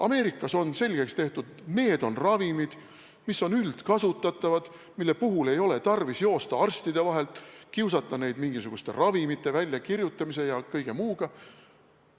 Ameerikas on selgeks tehtud, et need on ravimid, mis on üldkasutatavad, mille puhul ei ole tarvis joosta arstide vahet, kiusata neid retseptide väljakirjutamise ja kõige muuga.